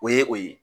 O ye o ye